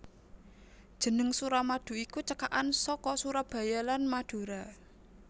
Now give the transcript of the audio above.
Jeneng Suramadu iku cekakan saka Surabaya lan Madura